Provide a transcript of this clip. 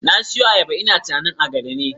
Na siyo ayaba ina tunanin agada ne